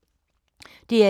DR1